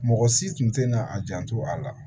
Mɔgɔ si tun tɛna a janto a la